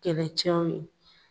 Kɛlɛcɛw ye.